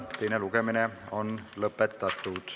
Teine lugemine on lõpetatud.